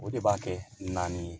O de b'a kɛ naani ye